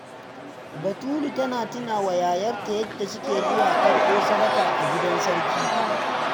Batulu ta tuna wa yayarta yadda suke zuwa karɓo sadaka a gidan sarki.